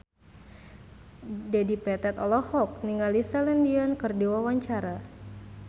Dedi Petet olohok ningali Celine Dion keur diwawancara